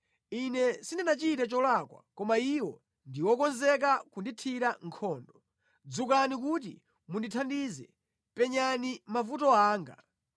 Ine sindinachite cholakwa, koma iwo ndi okonzeka kundithira nkhondo. Dzukani kuti mundithandize; penyani mavuto anga!